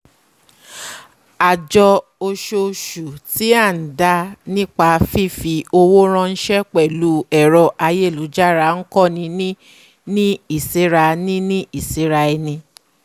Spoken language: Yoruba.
àjọ ososù tí à n dá nípa fífi owó ránsẹ́ pẹ̀lú ẹ̀rọ ayélujára n kọ́ ni ní ìsẹ́ra ni ní ìsẹ́ra eni